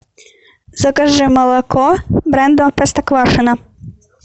закажи молоко бренда простоквашино